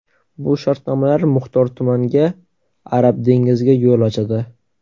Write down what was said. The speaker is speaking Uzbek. Bu shartnomalar muxtor tumanga Arab dengiziga yo‘l ochadi.